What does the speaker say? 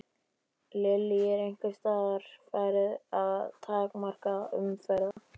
Lillý: Er einhvers staðar farið að takmarka umferð?